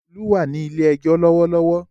Olú wà ní ilé-ẹjọ́ lọ́wọ́lọ́wọ́.